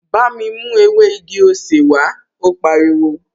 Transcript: Bámi mú ewé igi-osè wàá, ó pariwo!